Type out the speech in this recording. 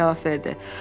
professor cavab verdi.